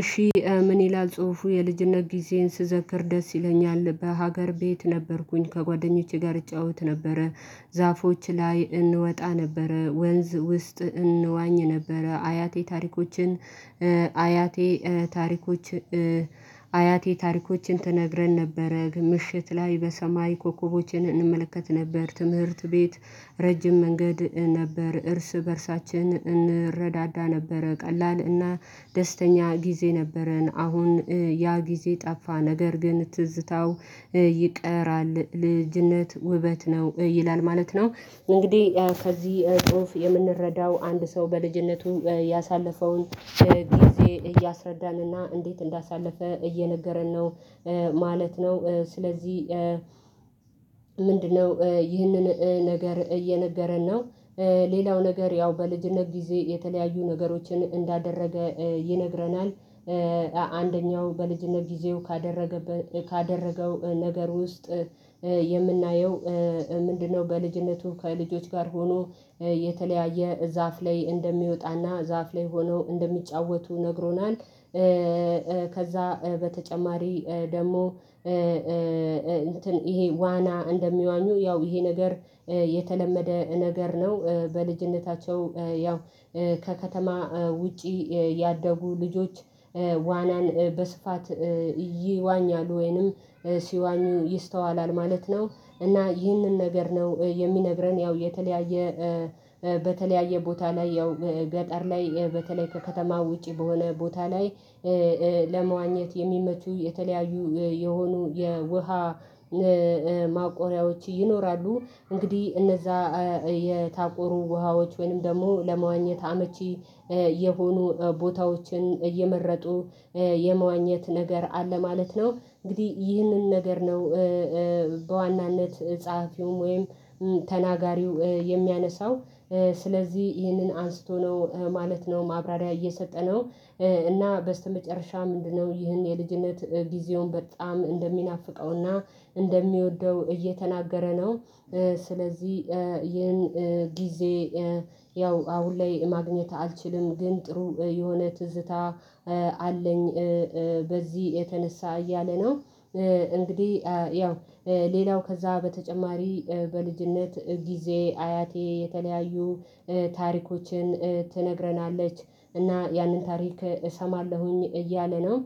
እሺ ምን ይላል ጽሁፉ የልጅነት ጊዜን ስዘክር ደስ ይለኛል። በሀገር ቤት ነበርኩኝ ከጓደኞቼ ጋር እጫወት ነበረ ዛፎች ላይ እንወጣ ነበረ ወንዝ ውስጥ እንዋኝ ነበረ አያቴ ታሪኮችን አያቴ ታሪኮች አያቴ ታሪኮችን ትነግረን ነበረ ምሽት ላይ በሰማይ ኮከቦችን እንመለከት ነበር። ትምህርት ቤት ረጅም መንገድ ነበር እርስ በእርሳችን እንረዳዳ ነበረ ቀላል እና ደስተኛ ጊዜ ነበረን። አሁን ያ ጊዜ ጠፋ ነገር ግን ትዝታው ይቀራል። ልጅነት ውበት ነው ይላል ማለት ነው። እንግዲህ ከዚህ ጽሁፍ የምንረዳው አንድ ሰው በልጅነቱ ያሳለፈውን ጊዜ እያስረዳንና እንዴት እንዳሳለፈ እየነገረን ነው። ማለት ነው ስለዚህ ምንድነው ይህንን ነገር እየነገረን ነው? ሌላው ነገር ያው በልጅነት ጊዜ የተለያዩ ነገሮችን እንዳደረገ ይነግረናል። አንደኛው በልጅነት ጊዜው ካደረገው ነገር ውስጥ የምናየው ምንድነው? በልጅነቱ ከልጆች ጋር ሆኖ የተለያየ ዛፍ ላይ እንደሚወጣና ዛፍ ላይ ሆኖ እንደሚጫወቱ ነግሮናል። ከዛ በተጨማሪ ደግሞ ይሄ ዋና እንደሚዋኙ ያው ይሄ ነገር የተለመደ ነገር ነው። በልጅነታቸው ያው ከከተማ ውጪ ያደጉ ልጆች ዋናን በስፋት ይዋኛል ወይንም ሲዋኙ ይስተዋላል ማለት ነው። እና ይህንን ነገር ነው የሚነግረን ያው የተለያየ በተለያየ ቦታ ላይ ያው ገጠር ላይ በተለይ ከከተማ ውጪ በሆነ ቦታ ላይ ለመዋኘት የሚመቹ የተለያዩ የሆኑ የውሃ ማቆሪያዎች ይኖራሉ። እንግዲህ እነዛ የታቆሩ ውሃዎች ወይም ደግሞ ለመዋኘት አመቺ የሆኑ ቦታዎችን እየመረጡ የመዋኘት ነገር አለ ማለት ነው። እንግዲህ ይህንን ነገር ነው በዋናነት ጸሐፊውም ወይም ተናጋሪው የሚያነሳው ስለዚህ ይህንን አንስቶ ነው ማለት ነው። ማብራሪያ እየሰጠ ነው። እና በስተመጨረሻ ምንድነው? ይህን የልጅነት ጊዜውን በጣም እንደሚናፍቀውና እንደሚወደው እየተናገረ ነው። ስለዚህ ይህን ጊዜ ያው አሁን ላይ ማግኘት አልችልም ግን ጥሩ የሆነ ትዝታ አለኝ። በዚህ የተነሳ እያለና እንግዲህ ያው ሌላው ከዛ በተጨማሪ በልጅነት ጊዜ አያቴ የተለያዩ ታሪኮችን ትነግረናለች እና ያንን ታሪክ እሰማለሁኝ እያለ ነው።